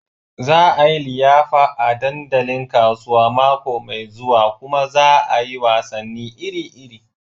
Za a yi liyafa a dandalin kasuwa mako mai zuwa kuma za a yi wasanni iri-iri.